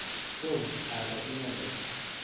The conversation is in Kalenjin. Tom aro inendet.